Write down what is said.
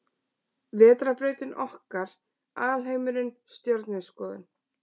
Vetrarbrautin okkar Alheimurinn Stjörnuskoðun.